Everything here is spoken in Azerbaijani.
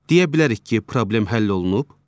Deyə bilərik ki, problem həll olunub?